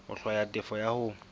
ho hlwaya tefo ya hao